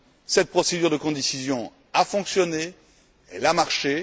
Cette procédure de codécision a fonctionné, elle a marché.